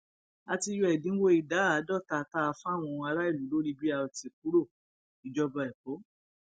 a ti yọ ẹdínwó ìdá àádọta tá a fáwọn aráàlú lórí brt kúròìjọba ẹkọ